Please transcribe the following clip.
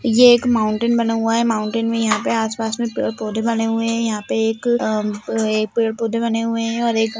ये एक माउंटेन बना हुआ है माउंटेन में यहाँं पे आस पास में पेड़ पौधे बने हुए हैं यहाँं पे एक अ अ पे एक पेड़ पौधे बने हुए हैं और एक--